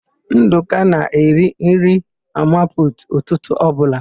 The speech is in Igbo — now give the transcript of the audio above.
Ndụka na-eri nri mama putu ụtụtụ ọbụla.